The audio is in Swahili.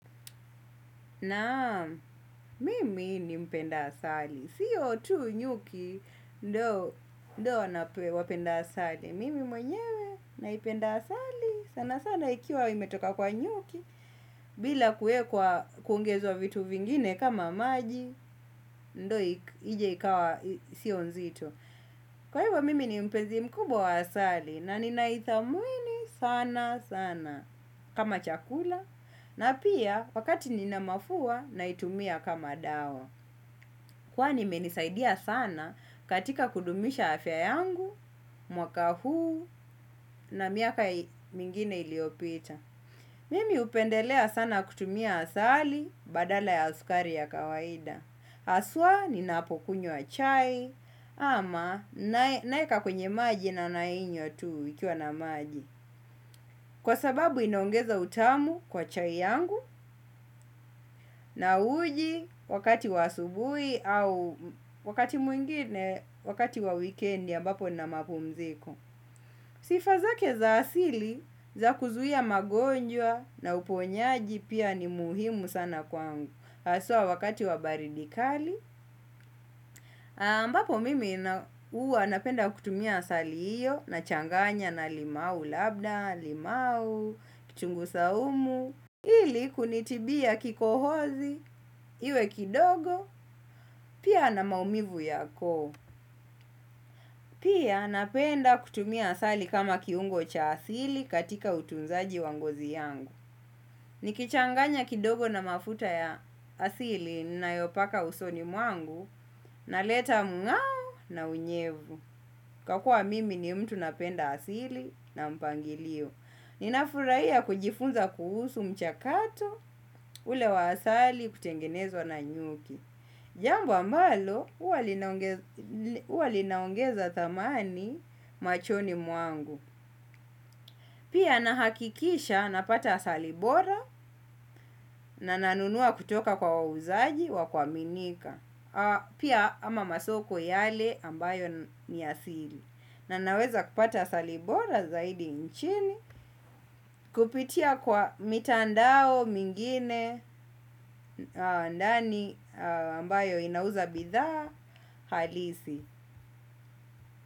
Naam mimi ni mpenda asali sio tu nyuki ndo nape wapenda asali. Mimi mwenyewe naipenda asali sana sana ikiwa imetoka kwa nyuki. Bila kuwekwa kuongezwa vitu vingine kama maji. Ndo ije ikawa sio nzito. Kwa hivyo mimi ni mpezi mkubwa wa asali. Na ninaithamini sana sana. Kama chakula na pia wakati nina mafua naitumia kama dawa. Kwani imenisaidia sana katika kudumisha afya yangu, mwaka huu na miaka mingine iliopita. Mimi upendelea sana kutumia asali badala ya sukari ya kawaida haswa ni napokunywa chai ama naeka kwenye maji na nainywa tu ikiwa na maji. Kwa sababu inaongeza utamu kwa chai yangu na uji wakati wa asubuhi au wakati mwingine wakati wa wikendi ambapo nina mapumziko. Sifa zake za asili za kuzuia magonjwa na uponyaji pia ni muhimu sana kwangu haswa wakati wa baridi kali ambapo mimi uwa napenda kutumia asali iyo na changanya na limau labda, limau, kitungu saumu. Ili kunitibia kikohozi, iwe kidogo, pia na maumivu ya koo. Pia napenda kutumia asali kama kiungo cha asili katika utunzaji wa ngozi yangu. Nikichanganya kidogo na mafuta ya asili ninayopaka usoni mwangu, na leta mngao na unyevu. Kakua mimi ni mtu napenda asili na mpangilio. Nikafurahia kujifunza kuhusu mchakato ule wa asali kutengenezwa na nyuki. Jambo ambalo huwa linaongeza thamani machoni mwangu. Pia nahakikisha napata asali bora na nanunua kutoka kwa wauzaji wa kuaminika. Pia ama masoko yale ambayo ni asili na naweza kupata asali bora zaidi nchini kupitia kwa mitandao mingine ndani ambayo inauza bidhaa halisi.